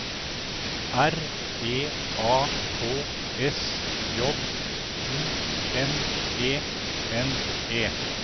R E A K S J O N E N E